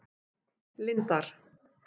Lindar